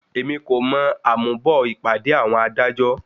Èmi kò mọ àmúbọ̀ ìpàdé àwọn adájọ́.